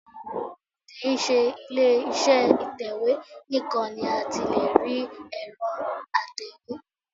Kì í ṣe ilé iṣẹ́ ìtẹ̀wé nìkan ni a ti lè rí ẹ̀rọ atẹ̀wé